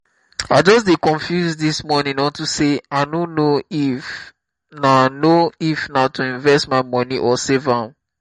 i just dey confused dis morning unto say i no know if na know if na to invest my money or save am